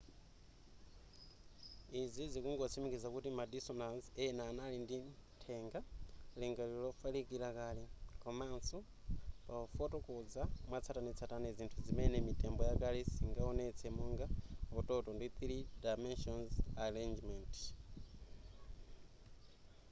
izi zikungotsimikiza kuti ma dinosaurs ena anali ndi nthenga lingaliro lofalikila kale komanso pafotokoza mwatsatanetsatane zinthu zimene mitembo yakale siingaonetse monga utoto ndi 3 dimension arrangement